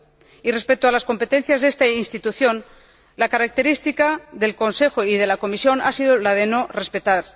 Y respecto a las competencias de esta Institución, la característica del Consejo y de la Comisión ha sido la de no respetar.